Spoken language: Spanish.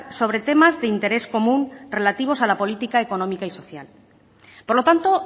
sobre temas de interés común relativos a la política económica y social por lo tanto